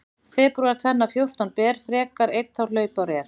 Febrúar tvenna fjórtán ber frekar einn þá hlaupár er.